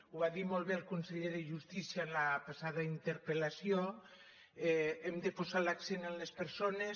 ho var dir molt bé el conseller de justícia en la passada interpel·lació hem de posar l’accent en les persones